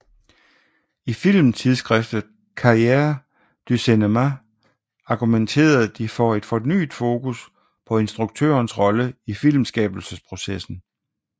I filmtidsskriftet Cahiers du Cinéma argumenterede de for et fornyet fokus på instruktørens rolle i filmskabelsesprocessen